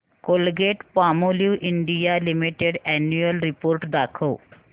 Colgate Palmolive India limited annual report दाखव